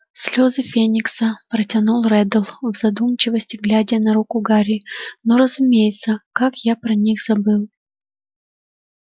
слезы феникса протянул реддл в задумчивости глядя на руку гарри ну разумеется как я про них забыл